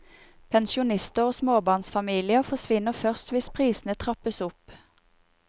Pensjonister og småbarnsfamilier forsvinner først hvis prisene trappes opp.